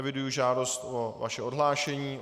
Eviduji žádost o vaše odhlášení.